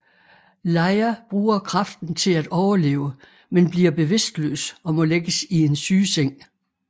Leia bruger kraften til at overleve men bliver bevidstløs og må lægges i en sygeseng